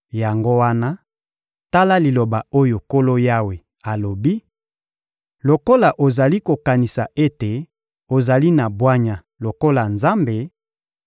Yango wana, tala liloba oyo Nkolo Yawe alobi: Lokola ozali kokanisa ete ozali na bwanya lokola Nzambe,